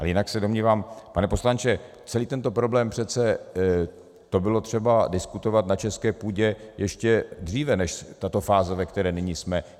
A jinak se domnívám, pane poslanče, celý tento problém, přece to bylo třeba diskutovat na české půdě ještě dříve než tato fáze, ve které nyní jsme.